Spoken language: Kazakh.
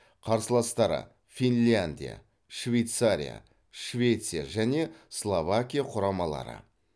қарсыластары финляндия швейцария швеция және словакия құрамалары